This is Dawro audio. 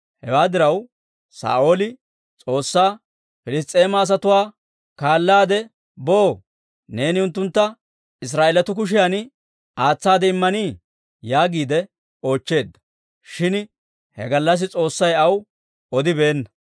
Hewaa diraw, Saa'ooli S'oossaa, «Piliss's'eema asatuwaa kaalaade boo? Neeni unttuntta Israa'eelatuu kushiyan aatsaade immanii?» yaagiide oochcheedda. Shin he gallassi S'oossay aw odibeenna.